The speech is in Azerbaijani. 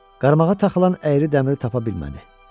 Qarmağa taxılan əyri dəmiri tapa bilmədi.